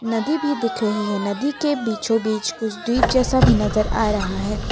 नदी भी दिख रही है नदी के बीचों बीच कुछ द्वीप जैसा भी नजर आ रहा है।